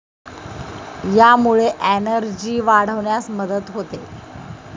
यामुळे एनर्जी वाढवण्यास मदत होते.